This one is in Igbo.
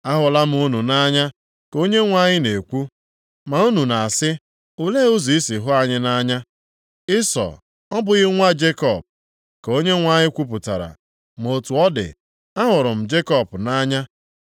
“Ahụla m unu nʼanya,” ka Onyenwe anyị na-ekwu. “Ma unu na-asị, ‘Olee ụzọ i si hụ anyị nʼanya?’ “Ịsọ, ọ bụghị nwanne Jekọb?” ka Onyenwe anyị kwupụtara. “Ma otu ọ dị, ahụrụ m Jekọb nʼanya,